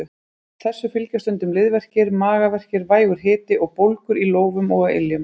Þessu fylgja stundum liðverkir, magaverkir, vægur hiti og bólgur í lófum og á iljum.